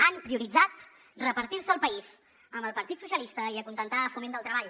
han prioritzat repartir se el país amb el partit socialistes i acontentar foment del treball